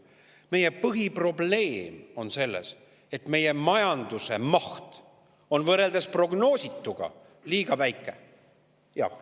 Meie põhiprobleem on see, et meie majanduse maht on võrreldes prognoosituga liiga väike.